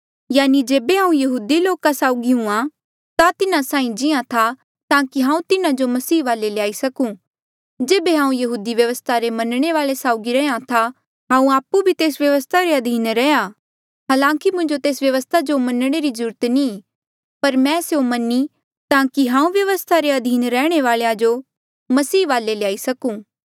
यानि जेबे हांऊँ यहूदी लोका साउगी हूंहां ता तिन्हा साहीं जियां था ताकि हांऊँ तिन्हा जो मसीह वाले ल्याई सकूं जेबे हांऊँ यहूदी व्यवस्था रे मनणे वाले साउगी रैहया था हांऊँ आपु भी तेस व्यवस्था रे अधीन रैहया हालांकि मुंजो तेस व्यवस्था जो मनणे री जरूरत नी पर मैं स्यों मन्हां ईं ताकि हांऊँ व्यवस्था रे अधीन रैहणे वालेया जो मसीह वाले ल्याई सकूं